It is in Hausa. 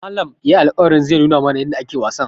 Malam yayi alƙawarin zai nuna mana yadda ake wasan.